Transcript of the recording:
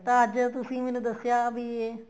ਤਾਂ ਅੱਜ ਤੁਸੀਂ ਦੱਸਿਆ ਵੀ ਇਹ